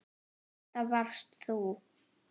Þetta varst þú.